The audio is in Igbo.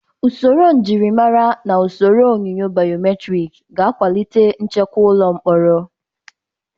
Usoro njirimara na usoro onyunyo baiometrik ga-akwalite nchekwa ụlọ mkpọrọ.